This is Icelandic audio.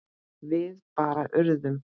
Við bara urðum.